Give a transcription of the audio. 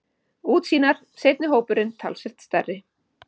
Útsýnar, seinni hópurinn talsvert stærri.